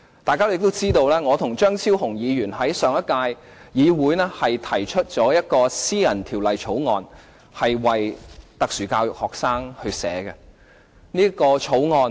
大家亦知道，我和張超雄議員在上屆立法會提出一項為特殊教育學生草擬的私人條例草案。